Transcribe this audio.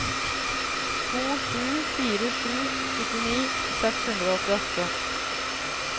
to sju fire sju syttini seks hundre og åttiåtte